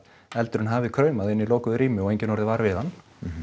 eldurinn hafi kraumað inni í lokuðu rými og enginn orðið var við hann